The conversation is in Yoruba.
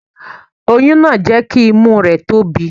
Oyún náà jẹ́ kí imú rẹ̀ tóbi.